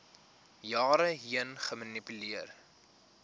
jare heen gemanipuleer